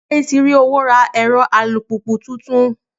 Níbo ni Bọ́lájí ti rí owó ra ẹ̀rọ alùpùpù tuntun?